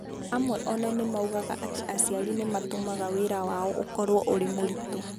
Amwe o na moigaga atĩ aciari nĩ matũmaga wĩra wao ũkorũo ũrĩ mũritũ.